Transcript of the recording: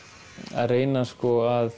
að reyna sko að